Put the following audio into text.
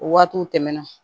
O waatiw tɛmɛna